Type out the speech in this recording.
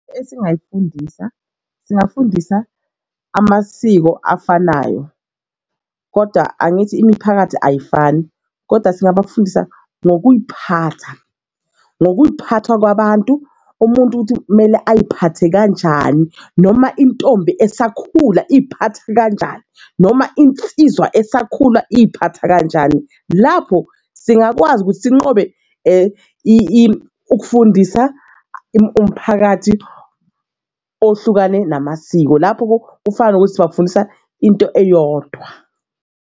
Esingayifundisa, singafundisa amasiko afanayo koda angithi imiphakathi ayifani koda singabafundisa ngokuy'phatha, ngokuy'phatha kwabantu umuntu ukuthi kumele futhi ay'phathe kanjani noma intombi esakhula iphatha kanjani noma insizwa esakhula iphatha kanjani. Lapho singakwazi ukuthi sinqobe ukufundisa umphakathi ohlukane namasiko lapho kufana nokuthi sibafundisa into eyodwa.